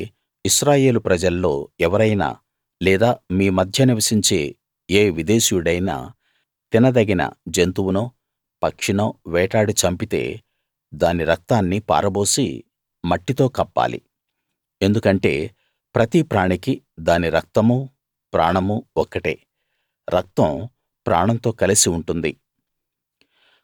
అలాగే ఇశ్రాయేలు ప్రజల్లో ఎవరైనా లేదా మీ మధ్య నివసించే ఏ విదేశీయుడైనా తినదగిన జంతువునో పక్షినో వేటాడి చంపితే దాని రక్తాన్ని పారబోసి మట్టితో కప్పాలి ఎందుకంటే ప్రతి ప్రాణికీ దాని రక్తమూ ప్రాణమూ ఒక్కటే రక్తం ప్రాణంతో కలసి ఉంటుంది